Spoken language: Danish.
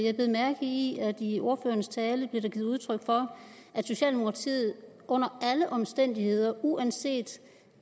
jeg bed mærke i at i ordførerens tale blev der givet udtryk for at socialdemokratiet under alle omstændigheder uanset